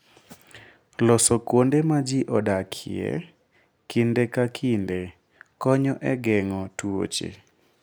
Loso kuonde ma ji odakie kinde ka kinde, konyo e geng'o tuoche.